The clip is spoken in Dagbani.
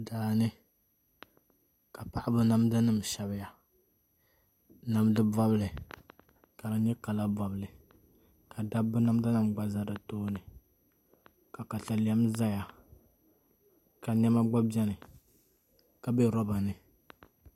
Daani ka paɣaba namda nim shɛbiya namdi bobli ka di nyɛ kala bobli ka dabba namda nim gba ʒɛ di tooni ka katalɛm ʒɛya ka niɛma gba biɛni ka bɛ roba ni